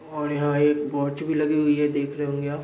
और यहाँ एक वॉच भी लगी हुई है देख रहे होंगे आप।